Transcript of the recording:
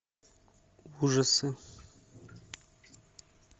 ужасы